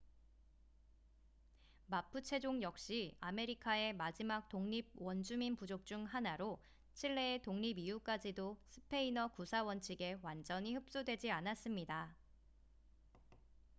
마푸체족 역시 아메리카의 마지막 독립 원주민 부족 중 하나로 칠레의 독립 이후까지도 스페인어 구사 원칙에 완전히 흡수되지 않았습니다